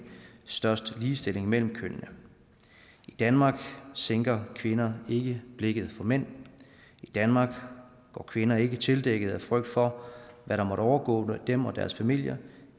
størst ligestilling mellem kønnene i danmark sænker kvinder ikke blikket for mænd i danmark går kvinder ikke tildækkede af frygt for hvad der måtte overgå dem og deres familier